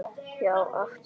Já og aftur já.